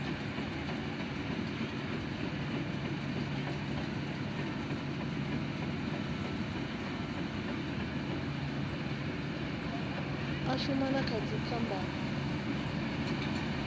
a shuma na kha dzipmb